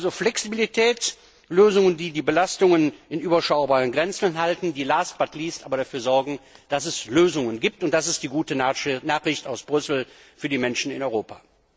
Also Flexibilität, Lösungen, die die Belastungen in überschaubaren Grenzen halten, die last, but not least aber dafür sorgen, dass es Lösungen gibt, und das ist die gute Nachricht aus Brüssel für die Menschen in Europa.